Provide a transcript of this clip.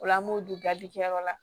O la an b'o don garidikɛyɔrɔ la